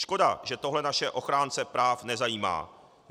Škoda, že tohle naše ochránce práv nezajímá.